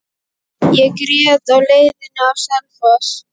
Ég grét á leiðinni á Selfoss.